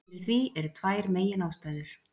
Fyrir því eru tvær meginástæður.